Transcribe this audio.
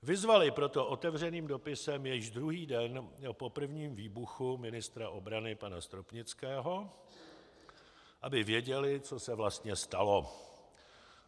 Vyzvali proto otevřeným dopisem již druhý den po prvním výbuchu ministra obrany pana Stropnického, aby věděli, co se vlastně stalo.